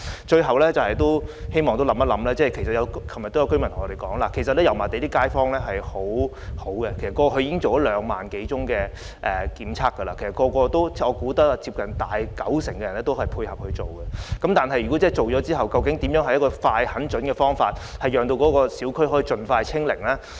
最後，我希望當局考慮的是，正如昨晚也有居民向我們提出，油麻地的街坊十分合作，過去已進行兩萬多次檢測，我相信接近九成居民也配合檢測，但檢測之後，如何用一個快、狠、準的方法讓小區可以盡快"清零"呢？